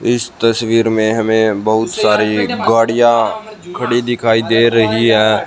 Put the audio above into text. इस तस्वीर में हमें बहुत सारी गाड़ियां खड़ी दिखाई दे रही है।